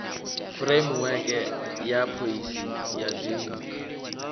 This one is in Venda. fureimiweke ya phoisi ya dzinnu